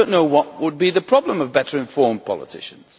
I do not know what would be the problem with better informed politicians.